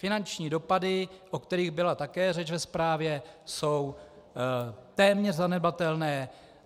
Finanční dopady, o kterých byla také řeč ve zprávě, jsou téměř zanedbatelné.